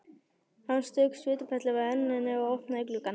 Hann strauk svitaperlur af enninu og opnaði gluggann.